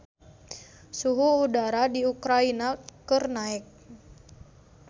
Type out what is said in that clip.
Suhu udara di Ukraina keur naek